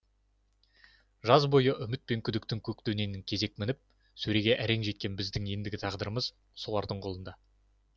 жаз бойы үміт пен күдіктің көк дөненін кезек мініп сөреге әрең жеткен біздің ендігі тағдырымыз солардың қолында